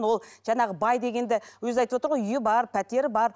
ол жаңағы бай дегенді өзі айтып отыр ғой үйі бар пәтері бар